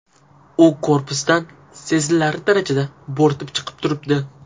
U korpusdan sezilarli darajada bo‘rtib chiqib turibdi.